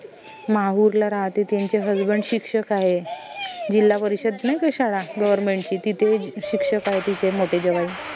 माहूरला राहते त्यांचे husband शिक्षक आहे जिल्हा परिषद नाई का शाळा government ची तिथे शिक्षक आहे तिचे मोटे जावई